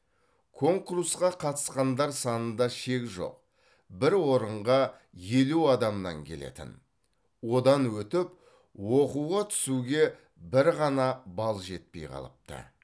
конкурсқа қатысқандар санында шек жоқ бір орынға елу адамнан келетін одан өтіп оқуға түсуге бір ғана балл жетпей қалыпты